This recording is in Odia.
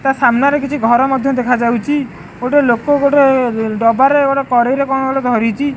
ତା ସାମ୍ନା ରେ କିଛି ଘର ମଧ୍ୟ ଦେଖା ଯାଉଚି ଗୋଟେ ଲୋକ ଗୋଟେ ଡବା ରେ ଗୋଟେ କରେଇ ରେ କଣ ଗୋଟେ ଧରିଚି --